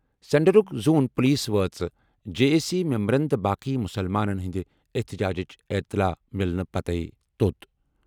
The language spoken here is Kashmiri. سینٹرک زون پولیس وٲژ جے اے سی ممبرَن تہٕ باقٕے مُسلمانَن ہٕنٛدِ احتجاجِچ اطلاع مِیلنہٕ پتہٕ توٚت۔